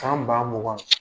Kan ba mugan.